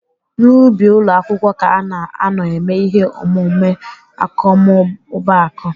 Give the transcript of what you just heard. N'ubi ụlọ akwụkwọ ka ana anọ eme ihe omume akọmmụbaaku.